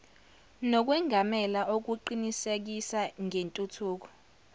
nokwengamela okuqinisekisa ngentuthuko